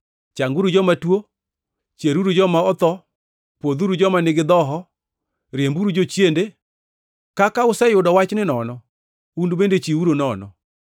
Changuru joma tuo, chieruru joma otho, pwodhuru joma nigi dhoho, riemburu jochiende. Kaka useyudo wachni nono, un bende chiwuru nono.